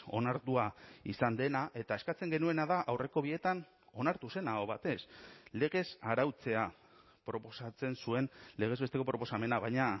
onartua izan dena eta eskatzen genuena da aurreko bietan onartu zen aho batez legez arautzea proposatzen zuen legez besteko proposamena baina